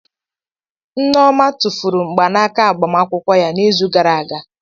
Nneoma tụfuru mgbanaka agbamakwụkwọ ya n'izu gara aga.